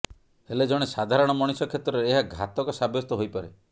ହେଲେ ଜଣେ ସାଧାରଣ ମଣିଷ କ୍ଷେତ୍ରରେ ଏହା ଘାତକ ସାବ୍ୟସ୍ତ ହୋଇପାରେ